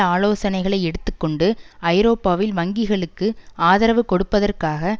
ஆலோசனைகளை எடுத்து கொண்டு ஐரோப்பாவில் வங்கிகளுக்கு ஆதரவு கொடுப்பதற்காக